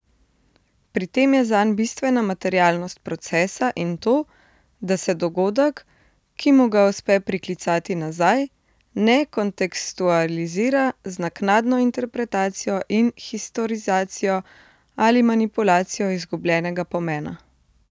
Pri tem je zanj bistvena materialnost procesa in to, da se dogodek, ki mu ga uspe priklicati nazaj, ne kontekstualizira z naknadno interpretacijo in historizacijo ali manipulacijo izgubljenega pomena.